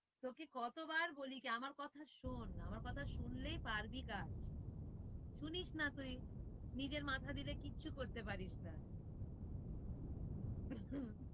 তোকে কতবার বলেছি আমার কথা শোন, আমার কথা শুনলে পারবি কাজ, শুনিস না তুই নিজের মাথা দিলে কিচ্ছু করতে পারিস না